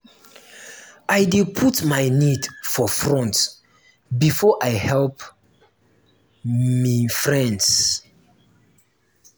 i dey put my need for front before i help me friends.